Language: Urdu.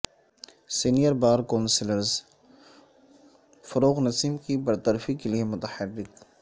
سینئربار کونسلز فروغ نسیم کی برطرفی کے لیے متحرک